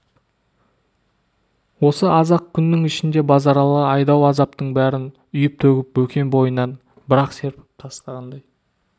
осы аз-ақ күннің ішінде базаралы айдау азаптың бәрін үйіп-төгіп бекем бойынан бір-ақ серпіп тастағандай